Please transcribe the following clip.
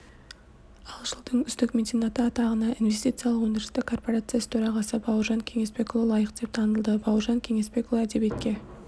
ал жылдың үздік меценаты атағына инвестициялық-өндірістік корпорациясы төрағасы бауыржан кеңесбекұлы лайық деп танылды бауыржан кеңесбекұлы әдебиетке